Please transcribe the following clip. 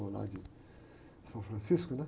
Ou lá de São Francisco, né?